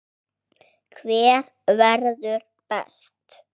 Hver verður best?